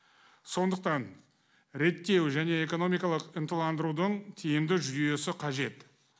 сондықтан реттеу және экономикалық ынталандырудың тиімді жүйесі қажет